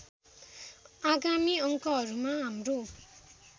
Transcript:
आगामी अङ्कहरुमा हाम्रो